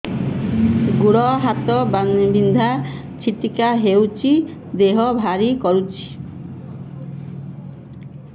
ଗୁଡ଼ ହାତ ବିନ୍ଧା ଛିଟିକା ହଉଚି ଦେହ ଭାରି କରୁଚି